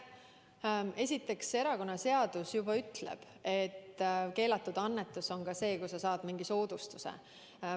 Esiteks, erakonnaseadus ütleb, et keelatud annetus on see, kui sa saad mingi soodustuse.